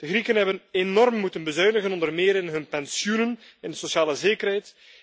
De Grieken hebben enorm moeten bezuinigen, onder meer in hun pensioenen en in hun sociale zekerheid.